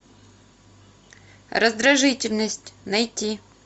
раздражительность найти